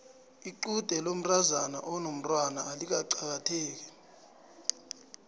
lqude lomntazana onomtwana alikaqakatheki